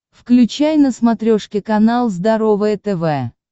включай на смотрешке канал здоровое тв